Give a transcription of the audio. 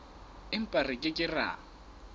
empa re ke ke ra